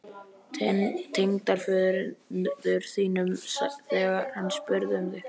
Tengdaföður þínum, þegar hann spurði um mig